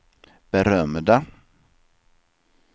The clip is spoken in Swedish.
berömda